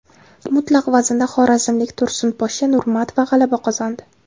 Mutlaq vaznda xorazmlik Tursunposhsha Nurmatova g‘alaba qozondi.